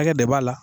Hakɛ de b'a la